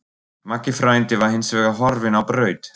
Maggi frændi var hins vegar horfinn á braut.